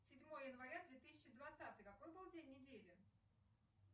седьмое января две тысячи двадцатый какой был день недели